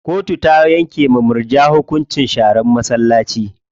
Kotu ta yanke wa murja hukuncin sharan masallaci.